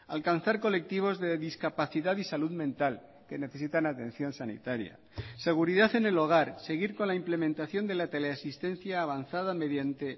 alcanzar colectivos de discapacidad y salud mental que necesitan atención sanitaria seguridad en el hogar seguir con la implementación de la teleasistencia avanzada mediante